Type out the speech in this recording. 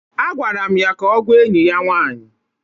Agwara m ya ka ọgwaa enyị ya nwanyị.